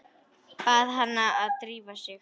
Bað hana að drífa sig.